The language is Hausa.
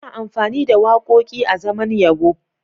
Ana amfani da waƙoƙi azaman yabo.